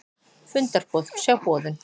Fundarboð, sjá boðun